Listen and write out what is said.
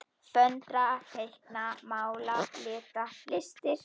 Föndra- teikna- mála- lita- listir